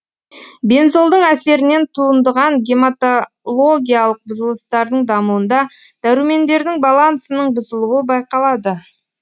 бензолдың әсерінен туындыған гематологиялық бұзылыстардың дамуында дәрумендердің балансының бұзылуы байқалады